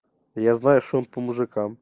я знаю что он по мужикам